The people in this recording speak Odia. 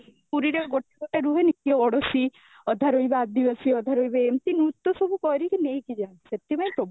ପୁରୀ ରେ ଗୋଟେ ଗୋଟେ ରୁହେନି କିଏ ଓଡ୍ଡିସି, ଅଧା ରହିବେ ଆଦିବାସୀ ଅଧା ରହିବେ, ଏମିତି ନୃତ ସବୁ କରିକି ନେଇକି ଯାନ୍ତି ସେଥିପାଇଁ ପ୍ରବ